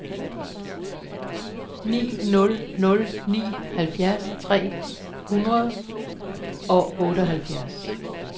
ni nul nul ni halvfjerds tre hundrede og otteoghalvfems